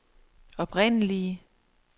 oprindelige